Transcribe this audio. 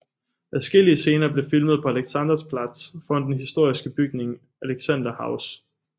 Adskillige scener blev filmet på Alexanderplatz foran den historiske bygning Alexanderhaus